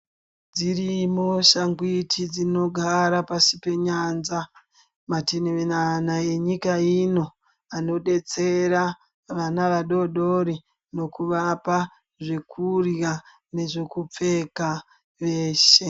Dzirimo shangwiti dzinogara pasi penyanza matiminana enyika ino anodetsera vana vadodori nekuvapa zvekurya nezvekupfeka veshe.